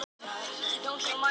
Kona í Perú